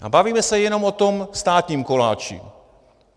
A bavíme se jenom o tom státním koláči.